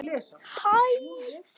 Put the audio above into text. Axel mágur okkar er látinn.